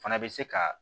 Fana bɛ se ka